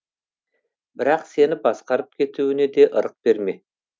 бірақ сені басқарып кетуіне де ырық берме